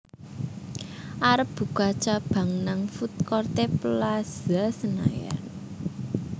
arep buka cabang nang foodcourt e Plaza Senayan